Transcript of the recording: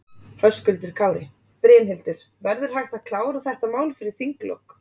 Höskuldur Kári: Brynhildur, verður hægt að klára þetta mál fyrir þinglok?